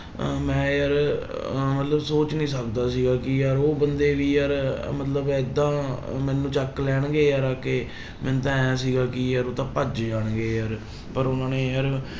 ਅਹ ਮੈਂ ਯਾਰ ਅਹ ਮਤਲਬ ਸੋਚ ਨੀ ਸਕਦਾ ਸੀਗਾ ਕਿ ਯਾਰ ਉਹ ਬੰਦੇ ਵੀ ਯਾਰ ਮਤਲਬ ਏਦਾਂ ਮੈਨੂੰ ਚੁੱਕ ਲੈਣਗੇ ਯਾਰ ਆ ਕੇ ਮੈਨੂੰ ਤਾਂ ਇਉਂ ਸੀਗਾ ਕਿ ਯਾਰ ਉਹ ਤਾਂ ਭੱਜ ਜਾਣਗੇ ਯਾਰ, ਪਰ ਉਹਨਾਂ ਨੇ ਯਾਰ